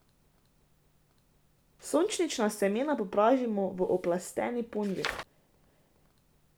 Sončnična semena popražimo v oplasteni ponvi.